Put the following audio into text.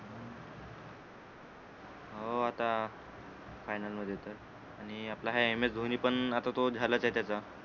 हो आता final मध्ये तर आणि आपला हा एम एस धोनी पण आता तो झाला तो त्याचा